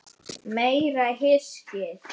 Meira hyskið!